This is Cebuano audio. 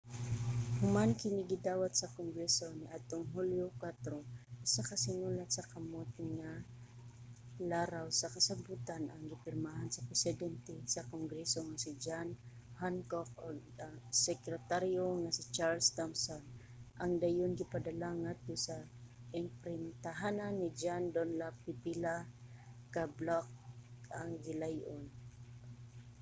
human kini gidawat sa kongreso niadtong hulyo 4 usa ka sinulat sa kamot nga laraw sa kasabotan ang gipirmahan sa presidente sa kongreso nga si john hancock ug sekretaryo nga si charles thomson ang dayon gipadala ngadto sa imprintahanan ni john dunlap pipila ka bloke ang gilay-on